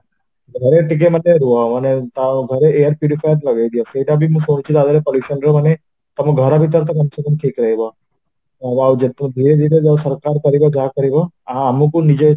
ଘରେ ଟିକେ ରୁହ ମାନେ ତ ଘରେ ଲଗେଇଦିଅ ସେତାବି ମୁଁ ଶୁଣୁଛି ତାଦିହରେ pollution ରମାନେ ଘର ଭିତର କମସେ କମ ଠିକ ରହିବ ଆଉ ଯେତେ ସରକାର ଯାହା କରିବା ଆମକୁ ନିଜ